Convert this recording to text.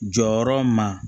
Jɔyɔrɔ ma